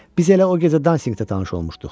Biz elə o gecə dansinqdə tanış olmuşduq.